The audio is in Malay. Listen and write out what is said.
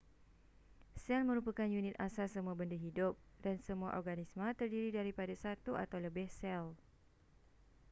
sel merupakan unit asas semua benda hidup dan semua organisma terdiri daripada satu atau lebih sel